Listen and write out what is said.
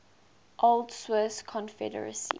old swiss confederacy